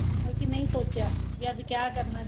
ਬਲਕਿ ਨਹੀਂ ਸੋਚਿਆ ਵੀ ਅੱਜ ਕਿਆ ਕਰਨਾ